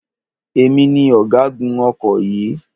Èmi ni ọ̀gágun ọkọ̀ yìí.